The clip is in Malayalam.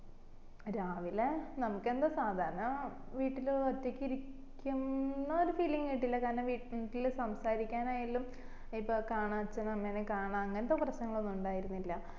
രാവിലെ നമ്മക്ക് എന്താ സാധരണ വീട്ടില്ഒറ്റക്ക് ഇരിക്കുന്ന ഒരു feeling കിട്ടില്ല കാരണം വീട്ടില് സംസാരിക്കാൻ ആയാലും ഇപ്പൊ കാണാം അച്ഛനേം അമ്മേനേം കാണാ അങ്ങനത്തെ പ്രശ്നോന്നും ഇണ്ടായില്ല